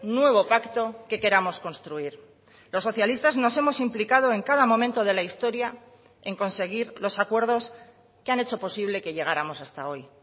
nuevo pacto que queramos construir los socialistas nos hemos implicado en cada momento de la historia en conseguir los acuerdos que han hecho posible que llegáramos hasta hoy